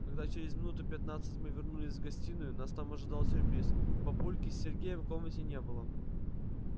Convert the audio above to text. когда через минуту пятнадцать мы вернулись в гостиную нас там ожидал сюрприз папульки с сергеем в комнате не было